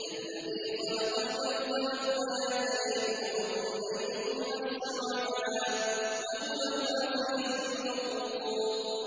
الَّذِي خَلَقَ الْمَوْتَ وَالْحَيَاةَ لِيَبْلُوَكُمْ أَيُّكُمْ أَحْسَنُ عَمَلًا ۚ وَهُوَ الْعَزِيزُ الْغَفُورُ